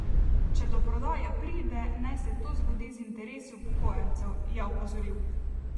Če do prodaje pride, naj se to zgodi z interesi upokojencev, je opozoril.